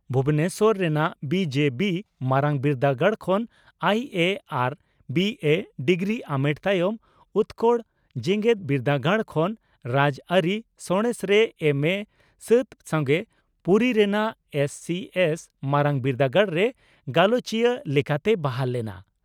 ᱵᱷᱩᱵᱚᱱᱮᱥᱚᱨ ᱨᱮᱱᱟᱜ ᱵᱤᱹᱡᱮᱹᱵᱤᱹ ᱢᱟᱨᱟᱝ ᱵᱤᱨᱫᱟᱹᱜᱟᱲ ᱠᱷᱚᱱ ᱟᱭᱤᱹᱮᱹ ᱟᱨ ᱵᱤᱹᱮᱹ) ᱰᱤᱜᱨᱤ ᱟᱢᱮᱴ ᱛᱟᱭᱚᱢ ᱩᱛᱠᱚᱲ ᱡᱮᱜᱮᱛ ᱵᱤᱨᱫᱟᱹᱜᱟᱲ ᱠᱷᱚᱱ ᱨᱟᱡᱽᱟᱹᱨᱤ ᱥᱟᱬᱮᱥ ᱨᱮ ᱮᱢᱹᱮᱹ ᱥᱟᱹᱛ ᱥᱚᱝᱜᱮ ᱯᱩᱨᱤ ᱨᱮᱱᱟᱜ ᱮᱥᱹᱥᱤᱹᱮᱥᱹ ᱢᱟᱨᱟᱝ ᱵᱤᱨᱫᱟᱹᱜᱟᱲᱨᱮ ᱜᱟᱞᱚᱪᱤᱭᱟᱹ ᱞᱮᱠᱟᱛᱮᱭ ᱵᱟᱦᱟᱞ ᱞᱮᱱᱟ ᱾